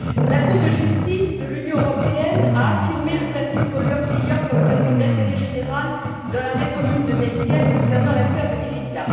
La Cour de Justice de l'Union européenne a affirmé le principe pollueur payeur comme principe d'intérêt général dans l'arrêt commune de Mesquer concernant l'affaire de l'Erika.